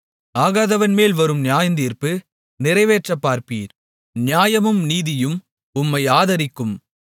ஆகாதவன்மேல் வரும் நியாயத்தீர்ப்பு நிறைவேற்றப் பார்ப்பீர் நியாயமும் நீதியும் உம்மை ஆதரிக்கும்